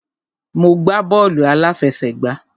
Mo gbá bọ́ọ̀lù àláfẹsẹ̀gbá.